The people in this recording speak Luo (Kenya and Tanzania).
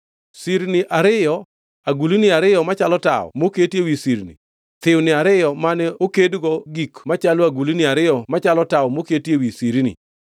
Sirni ariyo, agulni ariyo machalo tawo moketi ewi sirni; thiwni ariyo mane okedgo gik machalo agulni ariyo machalo tawo moketi ewi sirni;